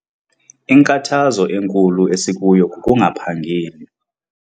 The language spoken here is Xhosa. Inkathazo enkulu esikuyo kukungaphangeli.